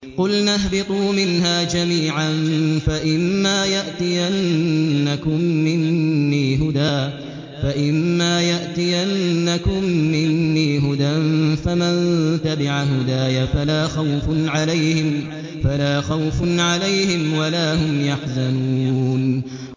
قُلْنَا اهْبِطُوا مِنْهَا جَمِيعًا ۖ فَإِمَّا يَأْتِيَنَّكُم مِّنِّي هُدًى فَمَن تَبِعَ هُدَايَ فَلَا خَوْفٌ عَلَيْهِمْ وَلَا هُمْ يَحْزَنُونَ